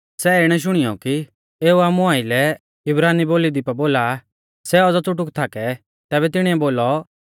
सै इणै शुणियौ कि एऊ आमु आइलै इब्रानी बोली दी पा बोला आ सै औज़ौ च़ुटुक थाकै तैबै तिणीऐ बोलौ